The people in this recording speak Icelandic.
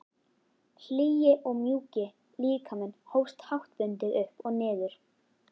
Hlýi og mjúki líkaminn hófst háttbundið upp og niður.